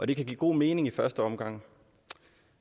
det kan give god mening i første omgang